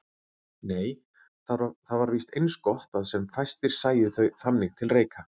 Nei, það var víst eins gott að sem fæstir sæju þau þannig til reika.